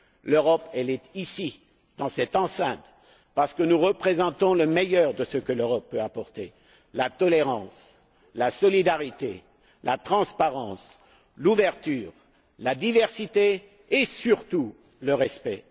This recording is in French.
L'Europe, elle est ici, dans cette enceinte, parce que nous représentons le meilleur de ce que l'Europe peut apporter la tolérance, la solidarité, la transparence, l'ouverture, la diversité et, surtout, le respect.